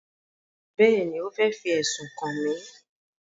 Bẹ́ẹ̀ni, ó fẹ́ fi ẹ̀sùn kàn mí